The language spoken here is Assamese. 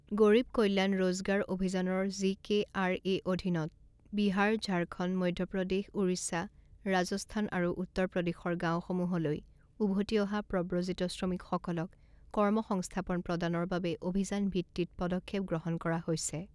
গৰিব কল্যাণ ৰোজগাৰ অভিযানৰ জিকেআৰএ অধীনত বিহাৰ, ঝাৰখণ্ড, মধ্য প্ৰদেশ, ওড়িশা, ৰাজস্থান আৰু উত্তৰ প্ৰদেশৰ গাঁওসমূৰলৈ উভতি অহা প্ৰব্ৰজিত শ্ৰমিকসকলক কৰ্ম সংস্থাপন প্ৰদানৰ বাবে অভিযানভিত্তিত পদক্ষেপ গ্ৰহণ কৰা হৈছে।